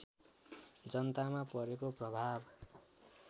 जनतामा पारेको प्रभाव